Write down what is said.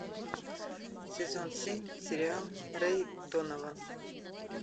сезон семь сериал рэй донован